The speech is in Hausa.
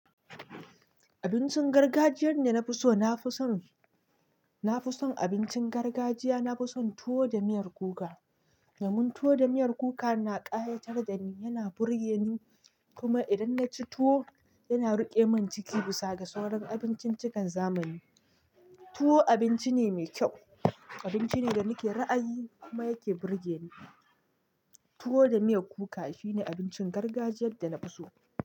Abincin gargajiyar da na fi so, na fi son, na fi son abincin gargajiya, na fi son tuwo da miyar kuka. Domin tuwo da miyar kuka na ƙayatar da ni, yana burge ni. Kuma idan na ci tuwo, yana ruƙe min ciki bisa ga sauran abinciccikan zamani. Tuwo abinci ne mai kyau, abinci ne da nake ra'ayi kuma yake burge ni. Tuwo da miyar kuka shine abincin gargajiyar da na fi so.